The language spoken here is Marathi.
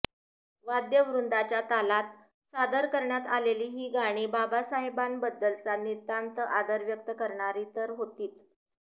वाद्यवृंदाच्या तालात सादर करण्यात आलेली ही गाणी बाबासाहेबांबद्दलचा नितांत आदर व्यक्त करणारी तर होतीच